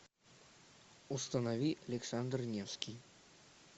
установи александр невский